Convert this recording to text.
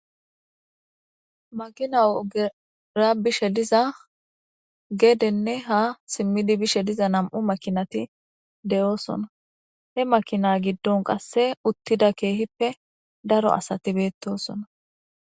makina ogera bishe diza geedenne ha simmidi bishe diza nam7u makinati de7oosona he makina giddon qasse uttida keehippe daro asati beettosona